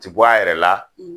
Ti bɔ a yɛrɛ la